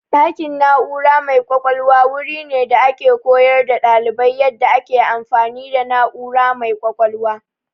Ɗakin na'ura mai ƙwaƙwalwa wuri ne da ake koyar da ɗalibai yadda ake amfani da na'ura mai ƙwaƙwalwa.